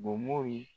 Bomow ye